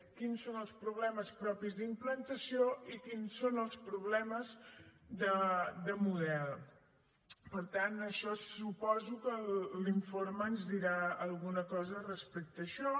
quins són els problemes propis d’implantació i quins són els problemes de model per tant això suposo que l’informe ens dirà alguna cosa respecte a això